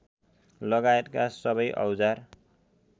लगायतका सबै औजार